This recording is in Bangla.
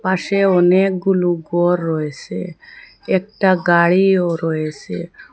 পাশে অনেকগুলো ঘর রয়েছে একটা গাড়িও রয়েছে।